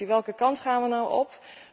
Welke kant gaan we nu op?